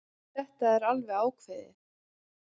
Þetta er alveg ákveðið.